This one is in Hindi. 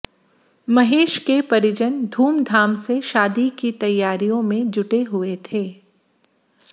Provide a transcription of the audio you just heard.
महेश के परिजन धूमधाम से शादी की तैयारियों में जुटे हुए थे